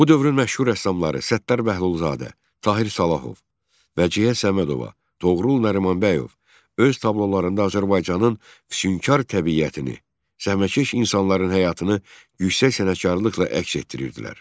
Bu dövrün məşhur rəssamları Səttar Bəhlulzadə, Tahir Salahov, Vəcihə Səmədova, Toğrul Nərimanbəyov öz tablolarında Azərbaycanın füsnkar təbiətini, zəhmətkeş insanların həyatını yüksək sənətkarlıqla əks etdirirdilər.